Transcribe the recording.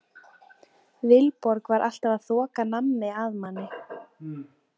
Vilborg var alltaf að þoka nammi að manni.